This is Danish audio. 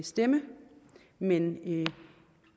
stemme men